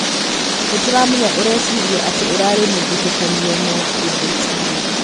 Nĩtũramenya ũreciririe atĩ ũrarĩ mũthutũkanio no ĩndĩ tiguo.